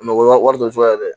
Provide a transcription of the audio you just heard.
Mɔgɔ ma wari dɔ sɔrɔ yen dɛ